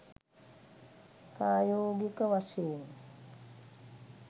ප්‍රායෝගික වශයෙන්